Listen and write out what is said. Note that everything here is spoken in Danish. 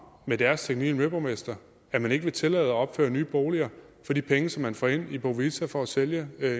med deres teknik og miljøborgmester at man ikke vil tillade at opføre nye boliger for de penge som man får ind i bo vita for at sælge